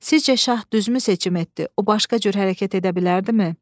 Sizcə şah düzmü seçim etdi, o başqa cür hərəkət edə bilərdimi?